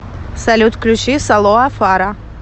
салют включи салоа фара